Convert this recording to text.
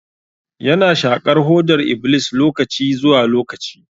Ya na shaƙar hodar iblis lokaci zuwa lokaci.